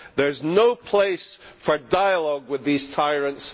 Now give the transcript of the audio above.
There is no place for dialogue with these tyrants.